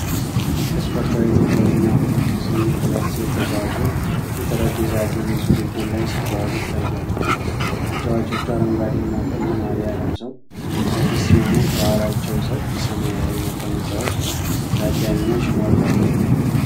በስፖርታዊ ትኩረት እና ፉክክር ስሜት፣ ሁለት ሴት ተጫዋቾች የጠረጴዛ ቴኒስ ውድድር ላይ ሲጫወቱ ይታያሉ። ተጫዋቾቹ አረንጓዴ እና ቀይ ማልያ ለብሰው ከፊት ሲሆኑ፣ ከኋላቸውም ሰፊ ሰማያዊ መቀመጫዎች በታዳሚዎች ሞልተዋል።